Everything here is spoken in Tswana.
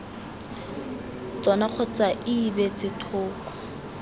tsona kgotsa ii beetse thoko